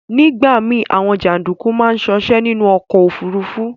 Nigba mi, Awon janduku maa sose ninu ọ̀kọ̀ ofúrúfú